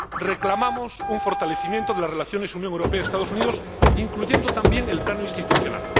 Reclamamos un fortalecimiento de las relaciones Unión Europea Estados Unidos, incluyendo también el plano institucional.